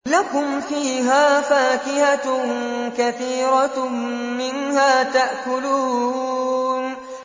لَكُمْ فِيهَا فَاكِهَةٌ كَثِيرَةٌ مِّنْهَا تَأْكُلُونَ